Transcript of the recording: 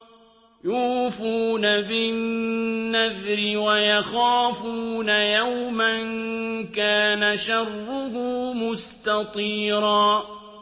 يُوفُونَ بِالنَّذْرِ وَيَخَافُونَ يَوْمًا كَانَ شَرُّهُ مُسْتَطِيرًا